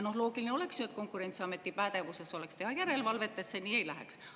Loogiline oleks ju, et Konkurentsiameti pädevuses oleks teha järelevalvet, et see nii ei läheks.